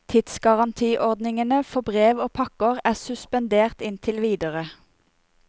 Tidsgarantiordningene for brev og pakker er suspendert inntil videre.